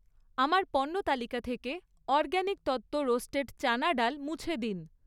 আমার পণ্য তালিকা থেকে অরগ্যাানিক তত্ত্ব রোস্টেড চানা ডাল মুছে দিন।